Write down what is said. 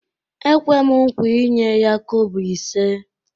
Ekwem nkwa inye ya kobo ise